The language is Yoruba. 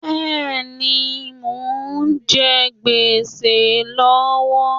Bẹ́ẹ̀ni, mo ń jẹ géṣà lọ́wọ́